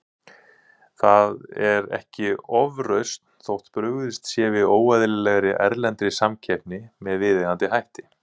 Það er ekki ofrausn þótt brugðist sé við óeðlilegri, erlendri samkeppni með viðeigandi hætti.